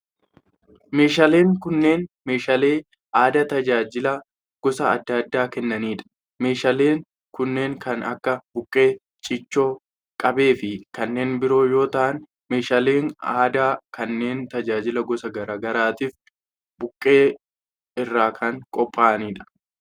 Meeshaaleen kunneen meeshaalee aadaa tajaajila gosa adda addaa kennanii dha. Meeshaaleen kunneen kan akka:buqqee, ciicoo, qabee fi kanneen biroo yoo ta'an, meeshaaleen aadaa kunneen tajaajila gosa garaa garaatif buqqee irraa kan qopha'anii dha.